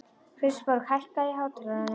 Kristborg, hækkaðu í hátalaranum.